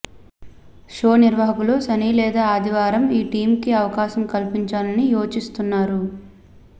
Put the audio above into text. show నిర్వహాకులు శని లేదా ఆదివారం ఈ టీమ్కి అవకాశం కల్పించాలని యోచిస్తున్నారు